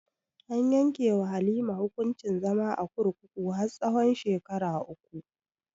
An yanke wa halima hukuncin zama a kurkuku har tsahon shekaru uku